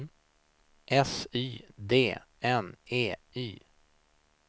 S Y D N E Y